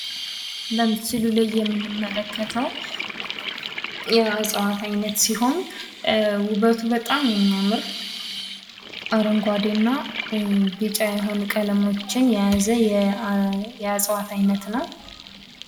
በምስሉ ላይ የምንመለከተው የእጽዋት አይነት ሲሆን ዉበቱ በጣም የሚያምር አረንጓዴ እና ቢጫ የሆነ ቀለማትን የያዘ የእጽዋት አይነት ነው።